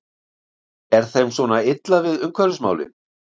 Er þeim svona illa við umhverfismálin?